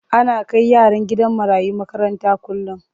Ana kai yaran gidan marayu makaranta kullum.